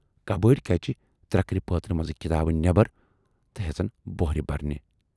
کبٲڑۍ کجہِ ترکرِ پٲترِ منزٕ کِتابہٕ نٮ۪برَ تہٕ ہٮ۪ژن بوہرِ بَرنہِ۔